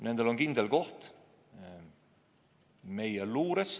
Nendel on kindel koht meie luures.